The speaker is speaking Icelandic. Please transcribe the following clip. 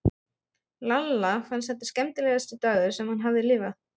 Lalla fannst þetta skemmtilegasti dagur sem hann hafði lifað.